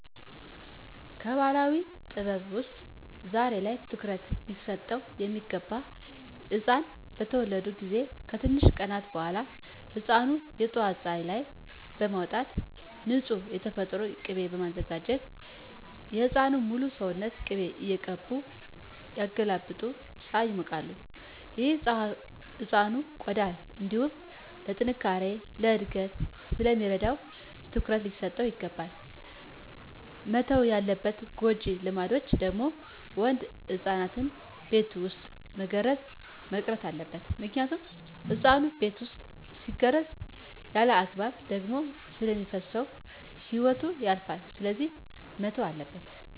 ከባህላዊ ጥበብ ውስጥ ዛሬ ላይ ትኩሩት ሊሰጠው ሚገባ ህፃናት በተወለዱ ጊዜ ከትንሽ ቀናት በኋላ ህፃኑን የጠዋት ፀሀይ ላይ በማውጣት ንፁህ የተፈጥሮ ቂቤ በማዘጋጀት የህፃኑን ሙሉ ሰውነት ቅቤ እየቀቡ እያገላበጡ ፀሀይ ያሞቃሉ። ይህ ለህፃኑ ቆዳ እንዲሁም ለጥነካሬ፣ ለእድገት ስለሚረዳው ትኩረት ሊሰጠው ይገባል። መተው ያለባቸው ጎጂ ልማዶች ደግሞ ወንድ ህፃናትን በቤት ውስጥ መገረዝ መቅረት አለበት ምክንያቱም ህፃኑ ቤት ውስጥ ሲገረዝ ያለአግባብ ደም ስለሚፈስሰው ህይወቱ ያልፋል ስለዚህ መተው አለበት።